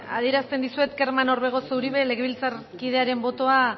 adierazten dizuet kerman orbegozo uribe legebiltzarkidearen botoa